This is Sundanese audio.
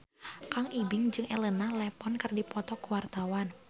Kang Ibing jeung Elena Levon keur dipoto ku wartawan